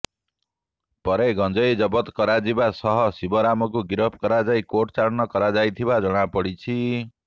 ପରେ ଗଞ୍ଜେଇ ଜବତ କରାଯିବା ସହ ଶିବରାମକୁ ଗିରଫ କରାଯାଇ କୋର୍ଟ ଚାଲାଣ କରାଯାଇଥିବା ଜଣାପଡ଼ିଛି